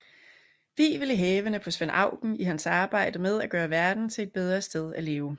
Wivel i hælene på Svend Auken i hans arbejde med at gøre verden til et bedre sted at leve